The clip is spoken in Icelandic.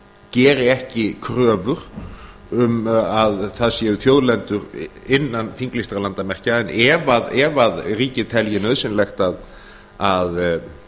geri ekki kröfur um að það séu þjóðlendur innan þinglýstra landamerkja en ef að ríkið telji nauðsynlegt að